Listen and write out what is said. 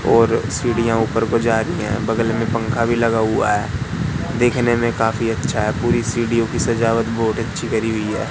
और सीढ़ियां ऊपर को जा रही हैं बगल में पंखा भी लगा हुआ है देखने में काफी अच्छा है पूरी सीढ़ियों की सजावट बहोत अच्छी करी हुई है।